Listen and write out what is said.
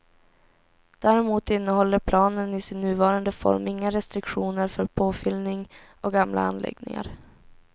Däremot innehåller planen i sin nuvarande form inga restriktioner för påfyllning av gamla anläggningar.